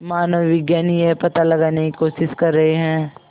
मानवविज्ञानी यह पता लगाने की कोशिश कर रहे हैं